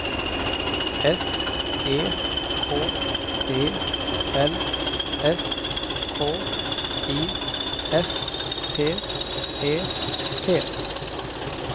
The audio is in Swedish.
S E K E L S K I F T E T